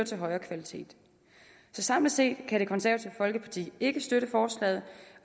til højere kvalitet samlet set kan det konservative folkeparti ikke støtte forslaget